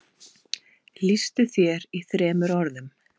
Lýstu þér í þremur orðum.